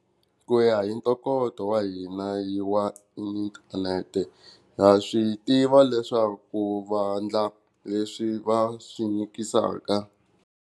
Ku ya hi ntokoto wa hina hi wa inthanete ha swi tiva leswaku vandla leswi va swi nyikisaka.